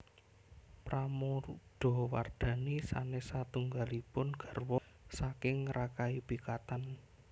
Pramodawardhani sanes satunggalipun gawra saking Rakai Pikatan